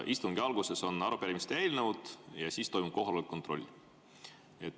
Istungi alguses on arupärimised ja eelnõud ja siis toimub kohaloleku kontroll.